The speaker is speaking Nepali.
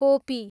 कोपी